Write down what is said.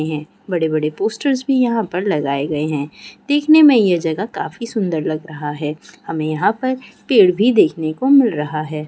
यह बड़े बड़े पोस्टर्स भी यहाँ पर लगाए गए है देखने में यह जगह काफी सुंदर लग रहा है हमें यहाँ पर पेड़ भी देखने को मिल रहा है।